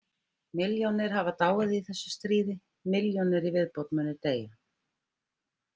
Milljónir hafa dáið í þessu stríði, milljónir í viðbót munu deyja.